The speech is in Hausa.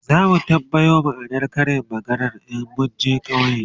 zamu tambaya ma'anar Karin maganar in munje ƙauye